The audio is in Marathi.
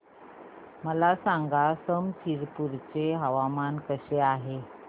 मला सांगा समस्तीपुर चे हवामान कसे आहे